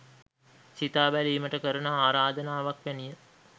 සිතා බැලීමට කරන ආරාධනාවක් වැනිය